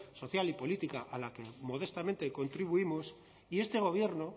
social y política a la que modestamente contribuimos y este gobierno